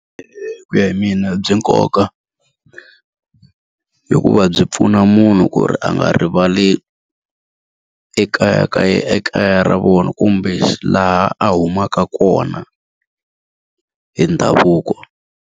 ku ya hi mina byi nkoka, hikuva byi pfuna munhu ku ri a nga rivali ekaya ekaya ra vona kumbe laha a humaka kona hi ndhavuko.